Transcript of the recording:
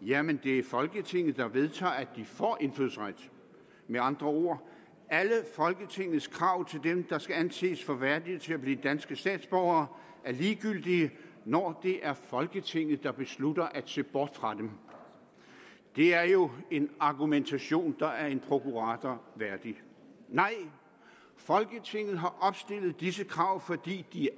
jamen det er folketinget der vedtager at de får indfødsret med andre ord alle folketingets krav til dem der skal anses for værdige til at blive danske statsborgere er ligegyldige når det er folketinget der beslutter at se bort fra dem det er jo en argumentation der er en prokurator værdig nej folketinget har opstillet disse krav fordi de